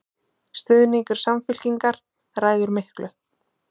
Stuðningur Samfylkingar ræður miklu